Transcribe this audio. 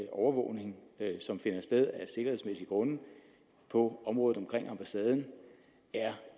overvågning som finder sted af sikkerhedsmæssige grunde på området omkring ambassaden er